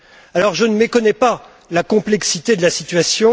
Alors je ne méconnais pas la complexité de la situation.